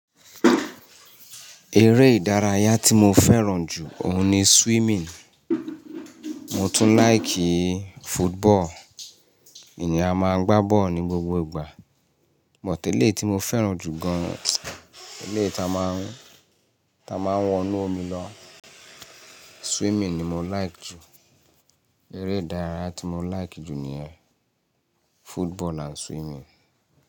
Eré ìdárayá tí mo fẹ́ràn jù òun ni swimming. Mo tún like football. Ènìyàn a máa gbá bọ́ọ̀lù ní gbogbo ìgbà, but eleyií ti mo fẹ́ràn jù gan, eleyi ta máa ń wọnú omi lọ, swimming ni mo like jù. Eré ìdárayá tí mo like jù ni yẹn, football and swimming.